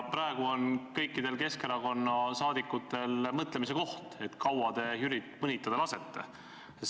Praegu on kõikidel Keskerakonna liikmetel mõtlemise koht, et kui kaua te Jürit mõnitada lasete.